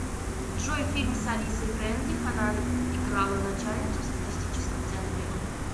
джой фильм с алисой фрейндлих она играла начальницу в статистическом центре